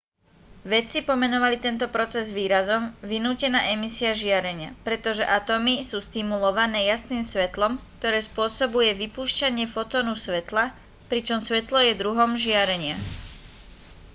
vedci pomenovali tento proces výrazom vynútená emisia žiarenia pretože atómy sú stimulované jasným svetlom ktoré spôsobuje vypúšťanie fotónu svetla pričom svetlo je druhom žiarenia